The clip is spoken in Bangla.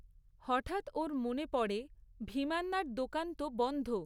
হঠাৎ ওর মনে পড়ে ভীমান্নার দোকান তো বন্ধ।